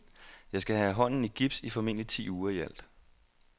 Jeg skal have hånden i gips i formentlig ti uger i alt.